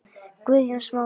Guðjón Smári.